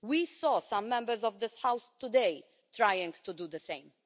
We saw some Members of this House today trying to do the same.